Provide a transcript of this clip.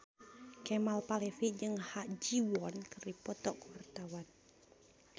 Kemal Palevi jeung Ha Ji Won keur dipoto ku wartawan